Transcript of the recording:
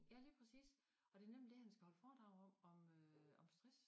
Ja lige præcis og det nemlig det han skal holde fordrag om om øh om stress